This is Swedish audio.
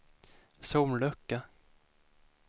sollucka